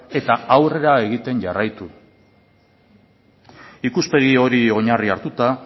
eta aurrera egiten jarraitu ikuspegi hori oinarri hartuta